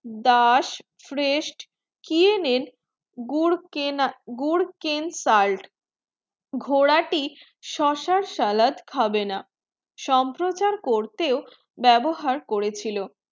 daas frest kiyenen gur gur ken salt ঘোড়াটি শসার salad খাবে না সম্প্রচার করতে ব্যবহার করেছিল